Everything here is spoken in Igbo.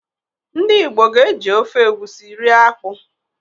Ndị Igbo ga-eji ofe egusi rie akpụ